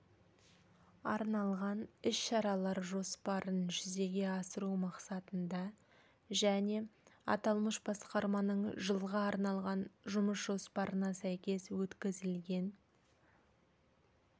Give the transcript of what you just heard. арналған іс-шаралар жоспарын жүзеге асыру мақсатында және аталмыш басқарманың жылға арналған жұмыс жоспарына сәйкес өткізілген